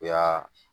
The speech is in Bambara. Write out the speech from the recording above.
U y'aa